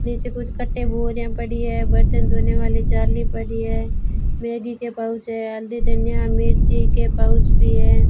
नीचे कुछ कट्टे बोरिया पड़ी है बर्तन धोने वाले जाली पड़ी है वेदी के पाउच है हल्दी धनिया मिर्ची के पाउच भी है।